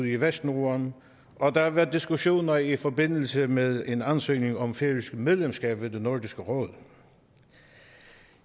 i vestnorden og der har været diskussioner i forbindelse med en ansøgning om færøsk medlemskab af nordisk råd